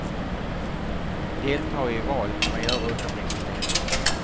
Delta i val kan man göra utan registrering.